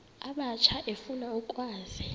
abatsha efuna ukwazi